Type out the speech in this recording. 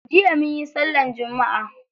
Jiya munyi sallar Jumma'a.